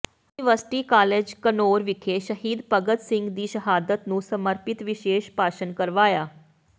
university college Ghanaur ਵਿਖੇ ਸ਼ਹੀਦ ਭਗਤ ਸਿੰਘ ਦੀ ਸ਼ਹਾਦਤ ਨੂੰ ਸਮਰਪਿਤ ਵਿਸ਼ੇਸ਼ ਭਾਸ਼ਣ ਕਰਵਾਇਆ